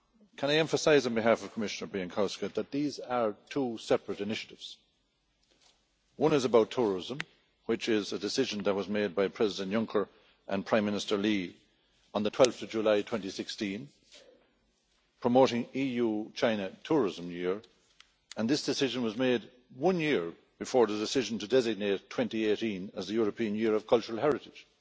Can I emphasise on behalf of Commissioner Bieńkowska that these are two separate initiatives. One is about tourism, which is a decision that was made by President Juncker and Prime Minister Li on 12 July 2016 promoting the EU China Tourism Year, and this decision was made one year before the decision to designate 2018 as the European Year of Cultural Heritage.